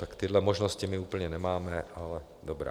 Tak tyhle možnosti my úplně nemáme, ale dobrá.